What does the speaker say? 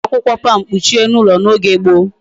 E ji akwukwo palm kpuchie elu ulo na oge gboo